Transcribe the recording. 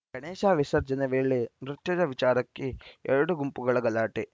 ಗಣೇಶ ವಿಸರ್ಜನೆ ವೇಳೆ ನೃತ್ಯದ ವಿಚಾರಕ್ಕೆ ಎರಡು ಗುಂಪುಗಳ ಗಲಾಟೆ